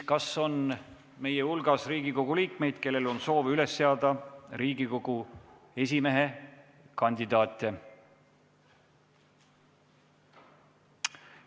Kas meie hulgas on Riigikogu liikmeid, kellel on soovi üles seada Riigikogu esimehe kandidaate?